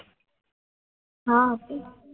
આ હતી ને